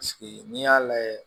n'i y'a lajɛ